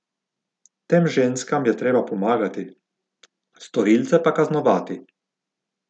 Tem ženskam je treba pomagati, storilce pa kaznovati.